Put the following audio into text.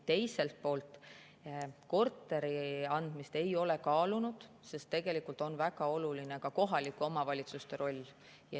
Teiselt poolt, korteri andmist ei ole kaalunud, sest tegelikult on väga oluline ka kohalike omavalitsuste roll.